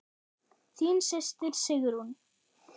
Þín systir Sigrún.